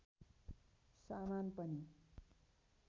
सामान पनि